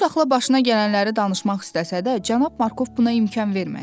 Tutsaxla başına gələnləri danışmaq istəsə də, Cənab Markov buna imkan vermədi.